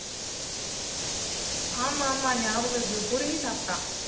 ஆமா ஆமா ஞாபகம் இருக்கு புடுங்கி சாப்டான்